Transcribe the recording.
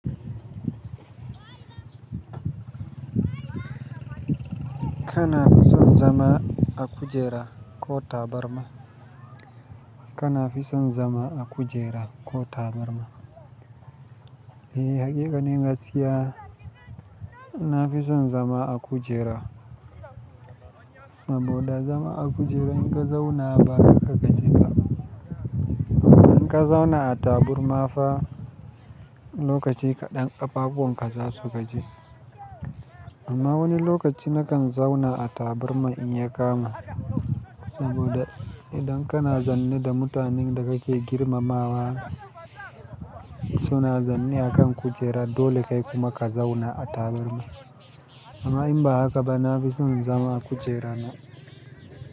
Kana fi son zama a kujera ko tabarma? Kana fi son zama a kujera ko tabarma? Eh, hakika nin gaskiya na fi son zama a kujera. Saboda zama a kujera in ka zauna ba haka ka je ba. In ka zauna a taburma fa lokaci kaɗan ƙafafuwanka za su gaji. Amma wani lokaci na kan zauna a tabarma in ya kamu. Saboda idan kana zaune da mutanen da kake girmamawa suna zaune akan kujera dole kai kuma ka zauna a tabarma. Amma in ba haka ba na fi son zama a kujerana.